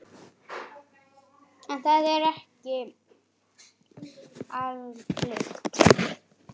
En það er ekki algilt.